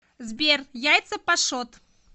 сбер яйца пашот